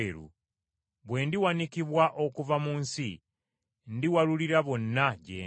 Bwe ndiwanikibwa okuva mu nsi, ndiwalulira bonna gye ndi.”